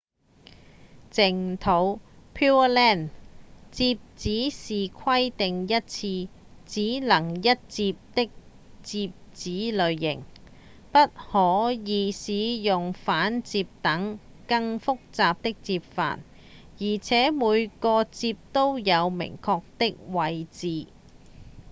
淨土 pureland 摺紙是規定一次只能一摺的摺紙類型不可以使用反摺等更複雜的摺法而且每個摺都有明確的位置